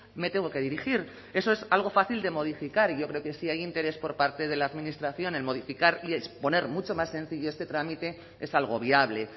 me tengo que dirigir eso es algo fácil de modificar y yo creo que si hay interés por parte de la administración en modificar y exponer mucho más sencillo este trámite es algo viable